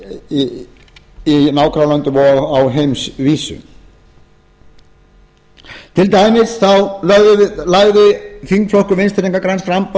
í nágrannalöndunum og á heimsvísu til dæmis lagði þingflokkur vinstri hreyfingarinnar græns framboðs árið tvö